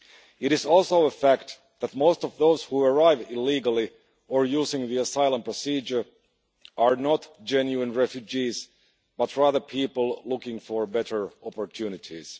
It is also a fact that most of those who arrive illegally or using the asylum procedure are not genuine refugees but rather people looking for better opportunities.